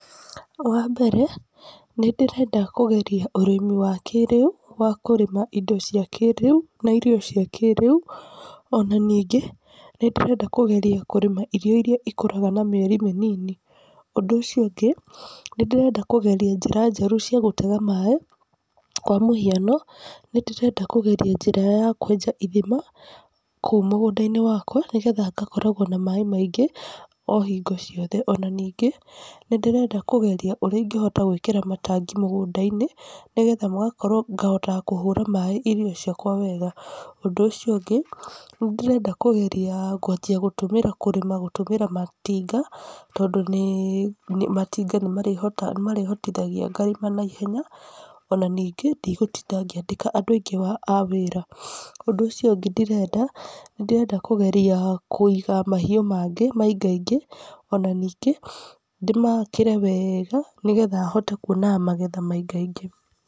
Wambere, nĩndĩrenda kũgeria ũrĩmi wa kĩrĩu, wa kũrĩma indo cia kĩrĩu na irio cia kĩrĩu, ona ningĩ nĩndĩrenda kũgeria kũrima irio iria ikũraga na mĩeri mĩnini. Ũndũ ũcio ũngĩ, nĩndĩrenda kũgeria njĩra njerũ cia gũtega maĩ, kwa mũhiano, nĩndĩrenda kũgeria njĩra ya kwenja ithima kũu mũgũnda-inĩ wakwa, nĩgetha ngakoragwo na maĩ maingĩ o hingo ciothe. Ona ningĩ nĩndĩrenda kũgeria ũrĩa ingĩhota gwĩkĩra matangi mũgũnda-inĩ nĩgetha magakorwo ngahotaga kũhũra maĩ irio ciakwa wega. Ũndũ ũcio ũngĩ, nĩndĩrenda kũgeria kwanjia gũtũmĩra kũrĩma gũtũmĩra matinga, tondũ nĩ nĩ matinga nĩ nĩmarĩhotaga nĩmarĩhotithagia ngarĩma na ihenya, ona ningĩ ndigũtinda ngĩandĩka andũ aingĩ a a wĩra. Ũndũ ũcio ũngĩ ndĩrenda, nĩndĩrenda kũgeria kũiga mahiũ mangĩ maingaingĩ ona ningĩ, ndĩmakĩre wega nĩgetha hote kuonaga magetha maingaingĩ.